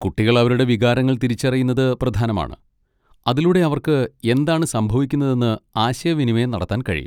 കുട്ടികൾ അവരുടെ വികാരങ്ങൾ തിരിച്ചറിയുന്നത് പ്രധാനമാണ്, അതിലൂടെ അവർക്ക് എന്താണ് സംഭവിക്കുന്നതെന്ന് ആശയവിനിമയം നടത്താൻ കഴിയും.